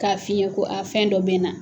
K'a f'i ɲɛ ko fɛn dɔ bɛ n na.